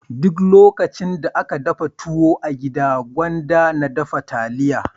Duk lokacin da aka dafa tuwo a gida gwanda na dafa taliya.